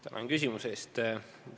Tänan küsimuse eest!